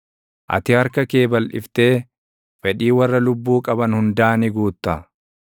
Ati harka kee balʼiftee fedhii warra lubbuu qaban hundaa ni guutta.